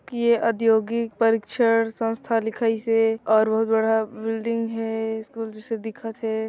ये औद्योगिक परिक्षण संस्था लिखाइस हे और बहुत बड़ा बिल्डिंग हे स्कूल जइसे दिखत हे।